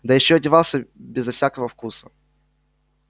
да ещё одевался безо всякого вкуса